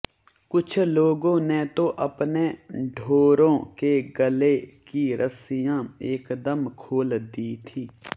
कुछ लोगों ने तो अपने ढोरों के गले की रस्सियां एकदम खोल दी थीं